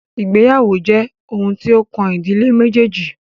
Ìgbéyàwó jẹ́ oun tí o kàn ìdílé méjèèjì.